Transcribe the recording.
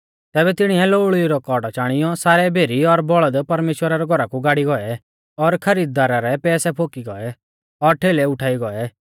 तैबै तिणीऐ लोऊल़ी रौ कोड़ौ चाणियौ सारै भेरी और बौल़द परमेश्‍वरा रै घौरा कु गाड़ी गौऐ और खरीददारा रै पैसै फोकी गौऐ और ठेलै उल़टाई गौऐ